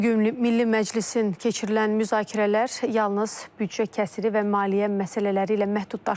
Bu gün Milli Məclisin keçirilən müzakirələr yalnız büdcə kəsri və maliyyə məsələləri ilə məhdudlaşmayıb.